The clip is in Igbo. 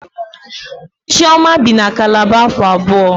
Chioma bi na Kalaba afọ abụọ